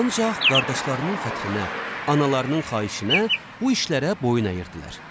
Ancaq qardaşlarının xətrinə, analarının xahişinə bu işlərə boyun əyirdilər.